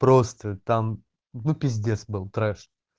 просто там ну пиздец был трэш